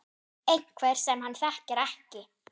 Einhver sem hann þekkir ekki.